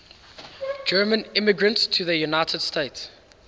german immigrants to the united states